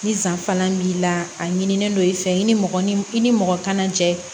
Ni san fana b'i la a ɲinien don i fɛ i ni mɔgɔ ni i ni mɔgɔ kana jɛ